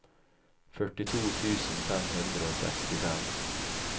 førtito tusen fem hundre og sekstifem